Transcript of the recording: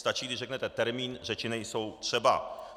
Stačí, když řeknete termín, řeči nejsou třeba.